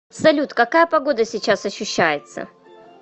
салют какая погода сейчас ощущается